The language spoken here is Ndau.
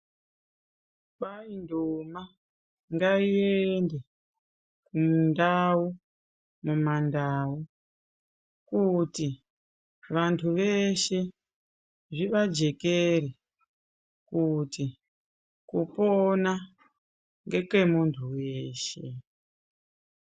Kwainduna ngaiende mundau ,mumandau kuti vantu veshe zvivajekere kuti kupona ngekemunuhu weshe .